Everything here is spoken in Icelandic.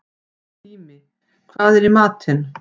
Tími, hvað er í matinn?